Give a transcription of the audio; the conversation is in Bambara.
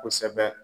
Kosɛbɛ